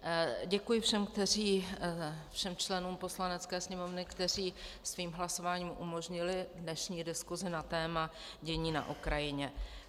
Děkuji všem členům Poslanecké sněmovny, kteří svým hlasováním umožnili dnešní diskusi na téma dění na Ukrajině.